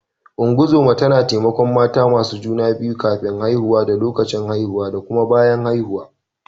Ungozoma tana taimakon mata masu juna biyu kafin haihuwa da lokacin haihuwa da kuma bayan haihuwa.